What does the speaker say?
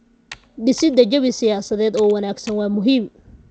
Dhisida jawi siyaasadeed oo wanaagsan waa muhiim.